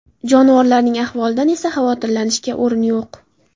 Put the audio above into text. Jonivorlarning ahvolidan esa xavotirlanishga o‘rin yo‘q.